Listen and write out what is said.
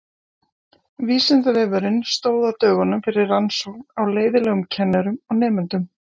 Vísindavefurinn stóð á dögunum fyrir rannsókn á leiðinlegum kennurum og nemendum.